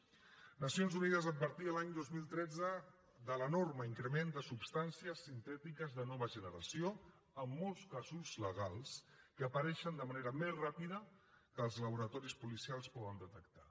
les nacions unides advertia l’any dos mil tretze de l’enorme increment de substàncies sintètiques de nova generació en molts casos legals que apareixen de manera més ràpida que els laboratoris policials ho poden detectar